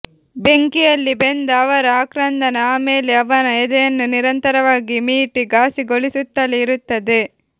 ಬೆಂಕಿಯಲ್ಲಿ ಬೆಂದ ಅವರ ಆಕ್ರಂದನ ಆಮೇಲೆ ಅವನ ಎದೆಯನ್ನು ನಿರಂತರವಾಗಿ ಮೀಟಿ ಘಾಸಿಗೊಳಿಸುತ್ತಲೇ ಇರುತ್ತದೆ